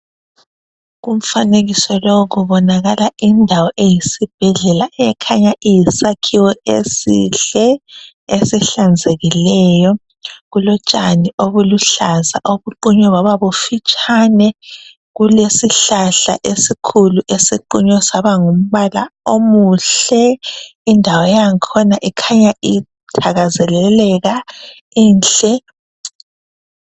Umfanekiso lowu kubonakala indawo eyisi bhedlela ekhanya iyisakhiwo esihle, esihlanzekileyo kulotshani obuluhlaza obuqunyiweyo bababufitshane, kulesihlahla esikhulu esiqunywe saba ngumbala omuhle, indawo yakhona ikhanya ithakazeleleka inhle..